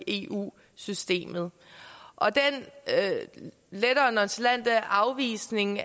eu systemet den lettere nonchalante afvisning